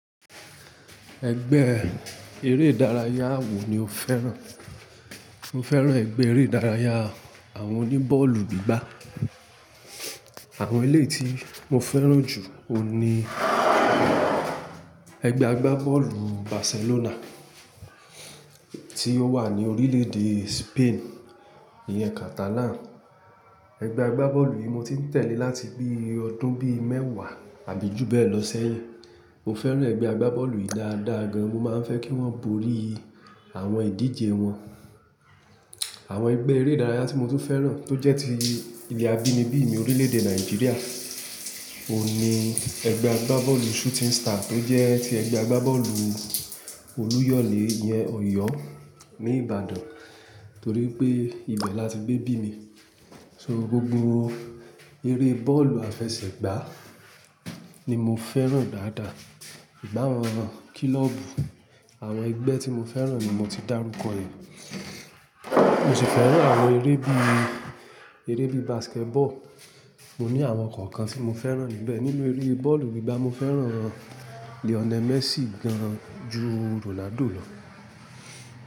Ẹgbẹ́ eré ìdárayá wo ni o fẹ́ràn? Mo fẹ́ràn ẹgbẹ́ eré ìdárayá àwọn oní bọ́ọ̀lù gbígbá. Àwọn eléyi tí mo fẹ́ràn jù ni ẹgbẹ́ agbá bọ́ọ̀lù Barcelona tí ó wà ní orílè-èdè Spain, ìyẹn Catalan. Ẹgbẹ́ agbá bọ́ọ̀lù yìí mo ti ń tẹ̀lé láti bí ọdún bí mẹ́wàá àbí jù bẹ́ẹ̀ lọ ṣẹ́yìn. Mo fẹ́ràn ẹgbẹ́ agbá bọ́ọ̀lù yìí dáadáa gan. Mo máa ń fẹ́ kí wọ́n borí àwọn ìdíje wọn. Àwọn ẹgbẹ́ eré ìdárayá tí mo tún fẹ́ràn tó jẹ́ ti ilẹ̀ abínibí mi orílè-èdè Nàìjíríà òun ni ẹgbẹ́ agbá bọ́ọ̀lù Shooting Star tó jẹ́ tí ẹgbẹ́ agbá bọ́ọ̀lù Olúyọ̀lé ìyẹn Ọ̀yọ́ ní Ìbàdàn, torí pé ibẹ̀ la ti gbé bí mi. So gbogbo eré bọ́ọ̀lù àfẹsẹ̀gbá ni mo fẹ́ràn dáadáa. Ba wọn kílọ́ọ̀bù àwọn ẹgbẹ́ tí mo fẹ́ràn ni mo ti dárúkọ yèn. Mo sì fẹ́ràn àwọn eré bí i, eré bí i basketball. Mo ní àwọn kọ̀ọ̀kan tí mo fẹ́ràn níbẹ̀. Nínú eré bọ́ọ̀lù gbígbá mo fẹ́ràn Lionel Messi gan ju Ronaldo lọ.